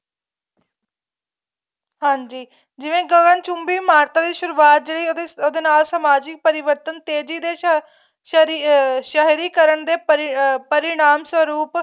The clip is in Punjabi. ਹਾਂਜੀ ਜਿਵੇਂ ਗਗਨ ਚੁੰਬੀ ਇਮਾਰਤਾਂ ਦੀ ਸੁਰੂਆਤ ਜਿਹੜੀ ਉਹਦੇ ਨਾਲ ਸਮਾਜਿਕ ਪਰਿਵਰਤਨ ਤੇਜ਼ੀ ਸ਼ਹਿਰੀਅਹ ਸਹਿਰੀਕਰਨ ਦੇ ਪਰਿਣਾਮ ਸਰੂਪ